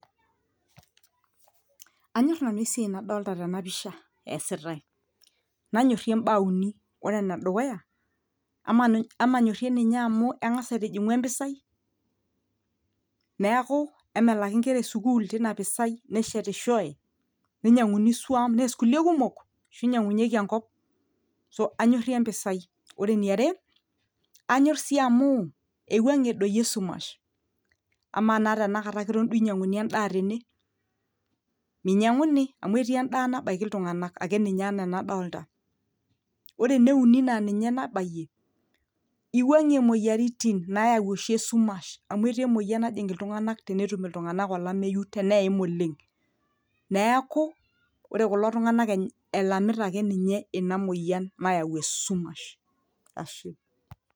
anyorr nanu esiai nadolta tena pisha esitae nanyorrie imbaa uni ore enedukuya ama amanyorrie ninye amu eng'as aitijing'u empisai neeku emelaki inkera esukul tina pisai neshetishoe ninyiang'uni isuam nees kulie kumok ashu inyiang'unyieki enkop anyorrie empisai ore eniare anyorr sii amu eiwung'ie doi esumash amaa naa tenakata eton duo inyiang'uni endaa tene minyiang'uni amu etii endaa nabaiki iltung'anak ake ninye enaa enadolta ore ene uni naa ninye nabayie iwuang'ie imoyiaritin nayau oshi esumash amu etii emoyian najing iltung'anak tenetum iltung'anak olameyu teneim oleng neeku ore kulo tung'anak e elamita ake ninye ina moyian nayau esumash ashe.